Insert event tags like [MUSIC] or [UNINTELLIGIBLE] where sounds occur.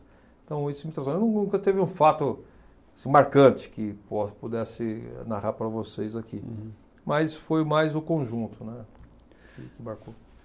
Então, isso me traz [UNINTELLIGIBLE] Olha num nunca teve um fato assim marcante que po pudesse narrar para vocês aqui, mas foi mais o conjunto, né, que marcou.